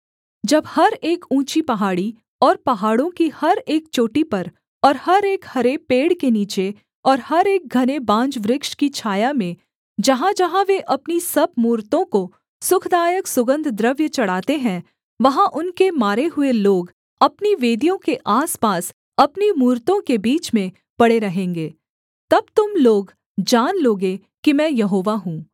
जब हर एक ऊँची पहाड़ी और पहाड़ों की हर एक चोटी पर और हर एक हरे पेड़ के नीचे और हर एक घने बांज वृक्ष की छाया में जहाँजहाँ वे अपनी सब मूरतों को सुखदायक सुगन्धद्रव्य चढ़ाते हैं वहाँ उनके मारे हुए लोग अपनी वेदियों के आसपास अपनी मूरतों के बीच में पड़े रहेंगे तब तुम लोग जान लोगे कि मैं यहोवा हूँ